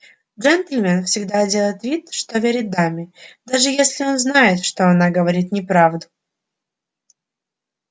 джентльмен всегда делает вид что верит даме даже если он знает что она говорит неправду